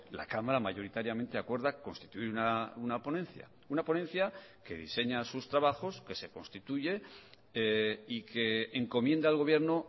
la cámara mayoritariamente acuerda constituir una ponencia una ponencia que diseña sus trabajos que se constituye y que encomienda al gobierno